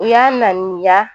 U y'a laɲiniya